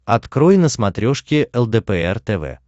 открой на смотрешке лдпр тв